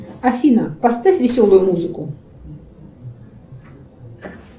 афина поставь веселую музыку